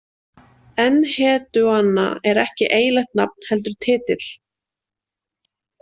Enheduanna er ekki eiginlegt nafn heldur titill.